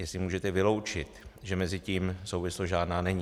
Jestli můžete vyloučit, že mezi tím souvislost žádná není.